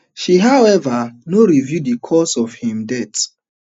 she however no reveal di cause of im death